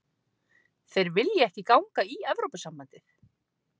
Þeir vilja ekki ganga í Evrópusambandið